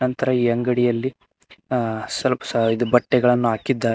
ನಂತರ ಈ ಅಂಗಡಿಯಲ್ಲಿ ಆ ಸ್ವಲ್ಪ ಸಹ ಬಟ್ಟೆಗಳನ್ನು ಹಾಕಿದ್ದ--